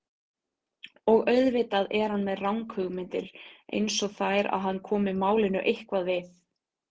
Og auðvitað er hann með ranghugmyndir einsog þær að hann komi málinu eitthvað við.